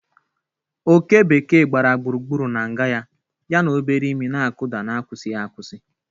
Oké bekee gbara gburugburu na nga ya, ya obere imi na-akụda n'akwụsịghị akwụsị.